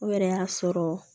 O yɛrɛ y'a sɔrɔ